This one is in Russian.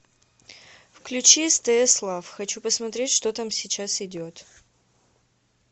включи стс лав хочу посмотреть что там сейчас идет